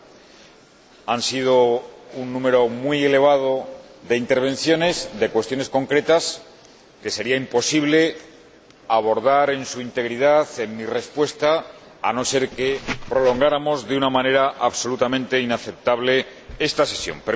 Se ha producido un número muy elevado de intervenciones, de cuestiones concretas, que sería imposible abordar en su integridad en mi respuesta, a no ser que prolongáramos de una manera absolutamente inaceptable esta sesión.